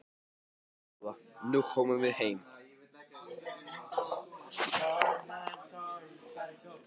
Svona góða, nú komum við heim.